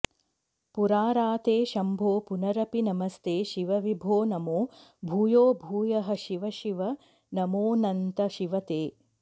पुराराते शम्भो पुनरपि नमस्ते शिव विभो नमो भूयो भूयः शिव शिव नमोऽनन्त शिव ते